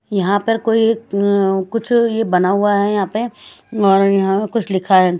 यहां पर कोई एक कुछ यह बना हुआ है यहां पे और यहां कुछ लिखा है।